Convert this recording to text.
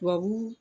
Tubabu